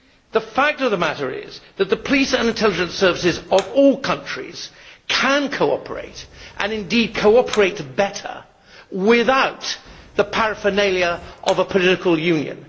The fact of the matter is that the police and intelligence services of all countries can cooperate and indeed cooperate better without the paraphernalia of a political union.